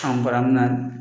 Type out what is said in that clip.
An bara mun na